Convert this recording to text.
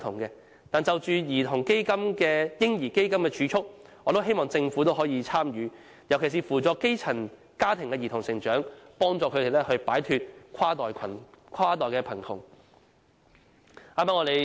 不過，就"嬰兒基金"的儲蓄，我也希望政府參與，尤其是扶助基層家庭的兒童成長，幫助他們擺脫跨代貧窮。